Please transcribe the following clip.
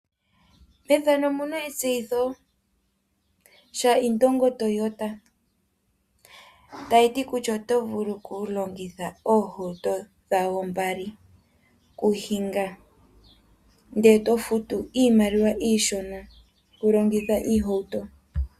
Nedbank okuna etseyitho lya indongo Toyota tayiti kutya oto vulu oku longitha oohauto dhawo mbali oku hinga, ndele to futu iimaliwa iishona oku longitha iihawuto.